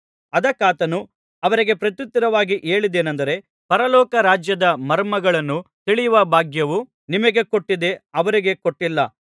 ಅದಕ್ಕಾತನು ಅವರಿಗೆ ಪ್ರತ್ಯುತ್ತರವಾಗಿ ಹೇಳಿದ್ದೇನೆಂದರೆ ಪರಲೋಕ ರಾಜ್ಯದ ಮರ್ಮಗಳನ್ನು ತಿಳಿಯುವ ಭಾಗ್ಯವು ನಿಮಗೆ ಕೊಟ್ಟಿದೆ ಅವರಿಗೆ ಕೊಟ್ಟಿಲ್ಲ